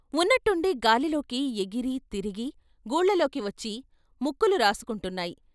ఉన్న ట్టుండి గాలిలోకి ఎగిరి తిరిగి గూళ్ళలోకివచ్చి ముక్కులు రాసుకుంటు న్నాయి.